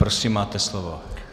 Prosím, máte slovo.